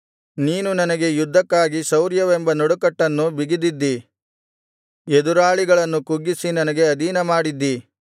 ನೀನು ನನಗೆ ಯುದ್ಧಕ್ಕಾಗಿ ಶೌರ್ಯವೆಂಬ ನಡುಕಟ್ಟನ್ನು ಬಿಗಿದಿದ್ದಿ ಎದುರಾಳಿಗಳನ್ನು ಕುಗ್ಗಿಸಿ ನನಗೆ ಅಧೀನಮಾಡಿದ್ದಿ